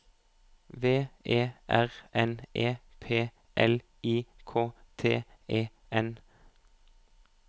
V E R N E P L I K T E N